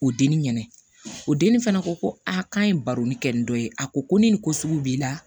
O denni ɲɛnɛ o denni fana ko ko aa k'an ye baro ni kɛ ni dɔ ye a ko ko ni nin ko sugu b'i la